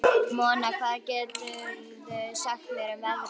Mona, hvað geturðu sagt mér um veðrið?